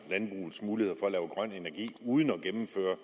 landbrugets muligheder grøn energi uden at gennemføre